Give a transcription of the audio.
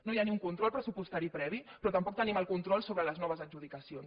no hi ha ni un control pressupostari previ però tampoc tenim el control sobre les noves adjudicacions